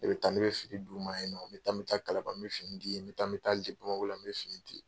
Ne bɛ taa, n bɛ fini d'u ma ye nɔ. N bɛ taa, n bɛ taa kalaban, n bɛ fini di yen. N bɛ taa n bɛ taa bamakɔ la,n bɛ fini di.